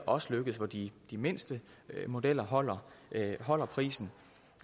også lykkedes for de mindste modeller holder holder prisen